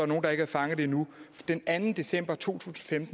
nogle der ikke har fanget det endnu den anden december to tusind